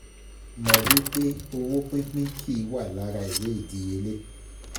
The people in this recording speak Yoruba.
Mọ̀ wí pé owó pínpín kì í wà lára ìwé ìdíyelé.